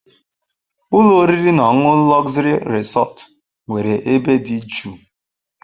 Ụlọ oriri na ọṅụṅụ Luxury Resort nwere ebe dị jụụ.